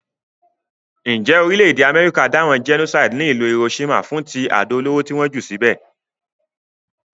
Njé orílẹ̀dè America dáràn genocide ní ìlú Hiroshima fún ti àdó olóró ti won jù síbè